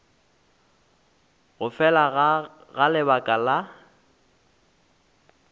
go fela ga lebaka la